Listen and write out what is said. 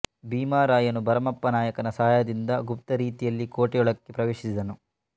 ಭೀಮರಾಯನು ಭರಮಪ್ಪ ನಾಯಕನ ಸಹಾಯದಿಂದ ಗುಪ್ತರೀತಿಯಲ್ಲಿ ಕೋಟೆ ಯೊಳಕ್ಕೆ ಪ್ರವೇಶಿಸಿದನು